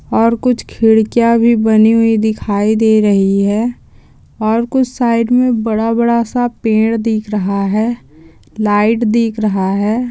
और कुछ खिडकियाँ भी बनी हुई दिखाई दे रही हैं और कुछ साइड में बड़ा-बड़ा सा पेड़ दिख रहा हैं लाइट दिख रहा है।